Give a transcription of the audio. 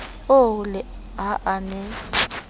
oo le ha a ne